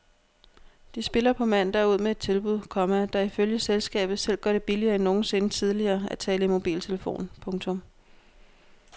De spiller på mandag ud med et tilbud, komma der ifølge selskabet selv gør det billigere end nogensinde tidligere at tale i mobiltelefon. punktum